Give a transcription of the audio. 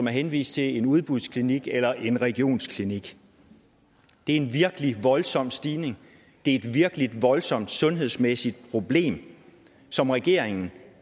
er henvist til en udbudsklinik eller en regionsklinik det er en virkelig voldsom stigning det er et virkelig voldsomt sundhedsmæssigt problem som regeringen